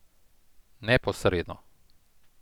Neposredno.